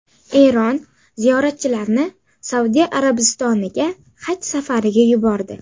Eron ziyoratchilarni Saudiya Arabistoniga haj safariga yubordi.